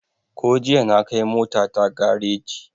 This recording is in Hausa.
Ko jiya na kai mota ta gareji